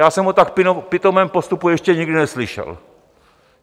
Já jsem o tak pitomém postupu ještě nikdy neslyšel.